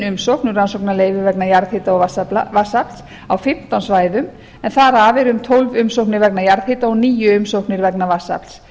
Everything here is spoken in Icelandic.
um rannsóknarleyfi vegna jarðhita og vatnsafls á fimmtán svæðum en þar af eru um tólf umsóknir vegna jarðhita og níu umsóknir vegna vatnsafls